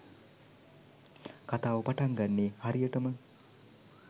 කතාව පටන් ගන්නේ හරියටම.